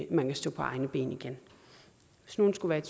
kan stå på egne ben igen hvis nogen skulle